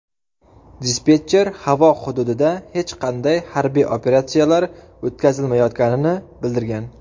Dispetcher havo hududida hech qanday harbiy operatsiyalar o‘tkazilmayotganini bildirgan.